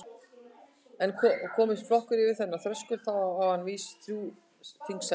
En komist flokkur yfir þennan þröskuld þá á hann vís þrjú þingsæti.